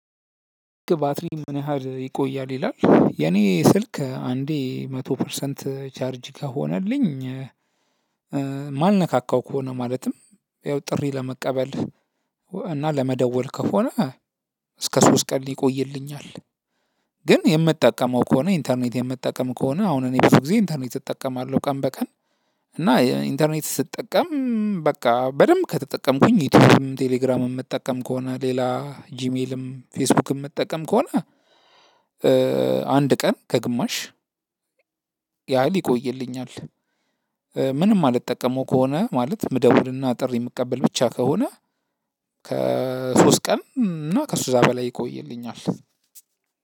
ባትሪም ምን ያህል ይቆያል ይላል የኔ ስልክ አንዴ መቶ ፐርሰንት ቻርጅ ከሆነልኝ ማንነካካው ከሆነ ማለትም ያው ጥሪ ለመቀበል እና ለመደወል ከሆነ እስከ ሶስት ቀን ይቆይልኛል። ግን የምትጠቀመው ከሆነ ኢንተርኔት የምትጠቀም ከሆነ አሁን እኔ ብዙ ጊዜ ኢንተርኔት እጠቀማለሁ ቀን በቀን። እና ኢንተርኔት ስትጠቀም በቃ በደንብ ከተጠቀምኩኝ ዩቲዩብም ቴሌግራምም የምትጠቀም ከሆነ ሌላ ጂሜልም ፌስቡክም የምትጠቀም ከሆነ አንድ ቀን ከግማሽ ያህል ይቆይልኛል። ምንም አልጠቀመው ከሆነ ማለት ምደውልና ጥሪ የምቀበል ብቻ ከሆነ ከሶስት ቀን እና ከእዛ በላይ ይቆይልኛል።